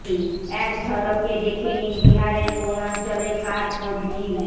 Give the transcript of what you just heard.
এক ঝলকে দেখে নিন বিহারের কোন অঞ্চলে কার কোড কী